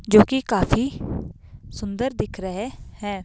जो कि काफी सुंदर दिख रहे है।